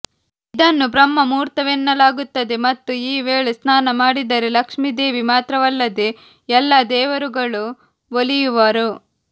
ಇದನ್ನು ಬ್ರಹ್ಮ ಮುಹೂರ್ತವೆನ್ನಲಾಗುತ್ತದೆ ಮತ್ತು ಈ ವೇಳೆ ಸ್ನಾನ ಮಾಡಿದರೆ ಲಕ್ಷ್ಮೀದೇವಿ ಮಾತ್ರವಲ್ಲದೆ ಎಲ್ಲಾ ದೇವರುಗಳು ಒಲಿಯುವರು